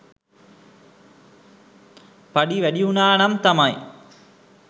පඩි වැඩි වුණානම් තමයි